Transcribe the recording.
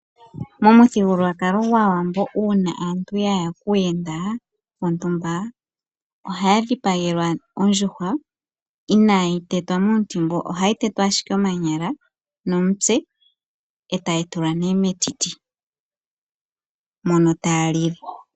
Momuthigululwakalo gwaawambo uuna aantu yaya kuuyenda wontumba ohaya dhipagelwa ondjuhwa inaayi tetwa miintimbu ohayi tetwa ashike omanyala nomutse etayi tulwa metiti mono taya lile.